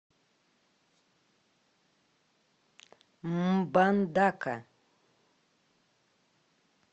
мбандака